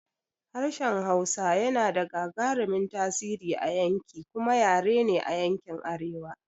Harshen Hausa yana da gagarumin tasiri a yanki kuma yare ne a yankin arewa.